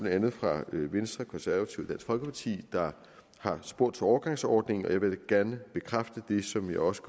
andet fra venstre konservative og folkeparti der har spurgt til en overgangsordning og jeg vil gerne bekræfte det som jeg også